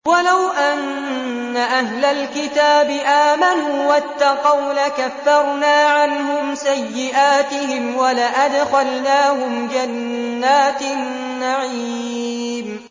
وَلَوْ أَنَّ أَهْلَ الْكِتَابِ آمَنُوا وَاتَّقَوْا لَكَفَّرْنَا عَنْهُمْ سَيِّئَاتِهِمْ وَلَأَدْخَلْنَاهُمْ جَنَّاتِ النَّعِيمِ